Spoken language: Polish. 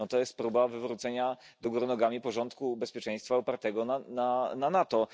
To jest próba wywrócenia do góry nogami porządku bezpieczeństwa opartego na NATO.